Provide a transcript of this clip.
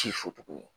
Ci